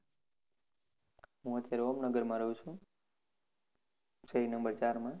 હું ઓમનગરમાં રહ્યું છુ number ચાર માં